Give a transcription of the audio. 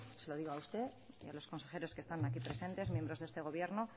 se lo digo a usted y a los consejeros que están aquí presentes miembros de este gobierno